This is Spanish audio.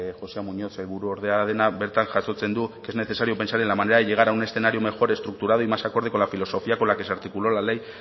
jose muñoz sailburuordea dena bertan jasotzen du es necesario pensar en la manera de llegar a un escenario mejor estructurado y más acorde con la filosofía con la que se articuló la ley